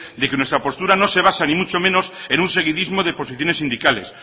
de que nuestra postura no se basa ni mucho menos en un seguidismo de posiciones sindicales